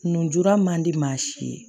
Nn gora man di maa si ye